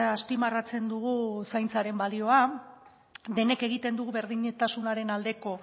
azpimarratzen dugu zaintzaren balioa denek egiten dugu berdintasunaren aldeko